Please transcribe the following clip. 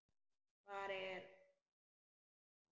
Hvar er hún þá?